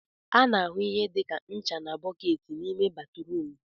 A na-ahụ ihe dị ka ncha na bọọketi n'ime batrum